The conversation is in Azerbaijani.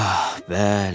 Ah, bəli.